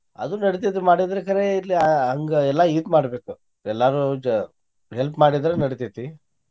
ಅದು ನಡಿತೇತಿ ಮಾಡಿದ್ರ ಕರೆ ಇಲ್ಲಿ ಆಹ್ ಹಂಗೆಲ್ಲಾ ಇದು ಮಾಡ್ಬೇಕ ಎಲ್ಲಾರು ಜೊ help ಮಾಡಿದ್ರ ನಡಿತೇತಿ.